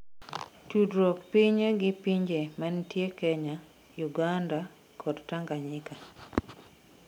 tudruok pinye gi pinje manitie Kenya, Uganda kod Tanganyika,